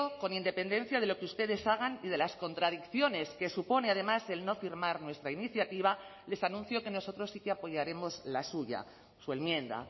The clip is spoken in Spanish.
con independencia de lo que ustedes hagan y de las contradicciones que supone además el no firmar nuestra iniciativa les anuncio que nosotros sí que apoyaremos la suya su enmienda